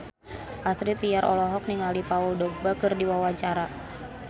Astrid Tiar olohok ningali Paul Dogba keur diwawancara